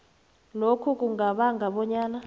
lokho kungabanga bonyana